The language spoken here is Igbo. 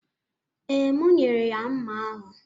Ee, m nyere ya mma ahụ